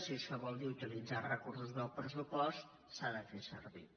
si això vol dir utilitzar els recursos del pressupost s’ha de fer servir